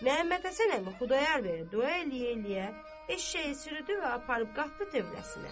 Məhəmmədhəsən əmi Xudayar bəyə dua eləyə-eləyə eşşəyi sürüdü və aparıb qatdı tövləsinə.